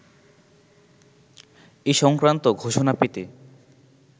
এ-সংক্রান্ত ঘোষণা পেতে